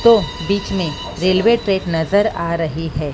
तो बीच में रेलवे ट्रैक नज़र आ रही है।